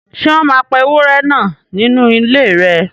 Ṣé wọ́n máa pa ewúrẹ́ náà nínú ilé rẹ